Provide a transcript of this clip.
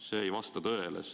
See ei vasta tõele.